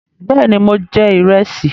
Bẹ́ẹ̀ ni, mo jẹ ìrẹsì.